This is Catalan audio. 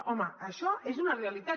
home això és una realitat